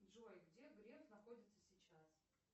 джой где греф находится сейчас